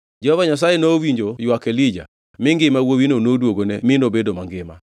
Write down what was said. Jehova Nyasaye nowinjo ywak Elija mi ngima wuowino noduogone mi nobedo mangima.